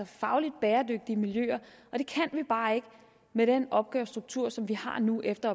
fagligt bæredygtige miljøer og det kan vi bare ikke med den opgavestruktur som vi har nu efter